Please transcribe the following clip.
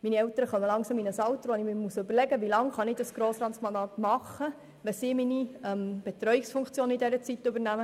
Meine Eltern kommen langsam in ein Alter, wo ich überlegen muss, wie lange ich das Grossratsmandat noch machen kann, da sie die Betreuungsfunktion während dieser Zeit übernehmen.